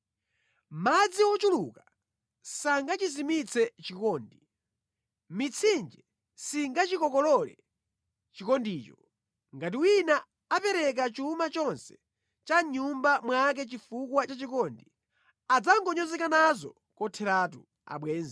Madzi ochuluka sangachizimitse chikondi, mitsinje singachikokolole chikondicho. Ngati wina apereka chuma chonse cha mʼnyumba mwake chifukwa cha chikondi, adzangonyozeka nazo kotheratu.